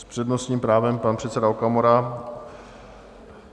S přednostním právem pan předseda Okamura.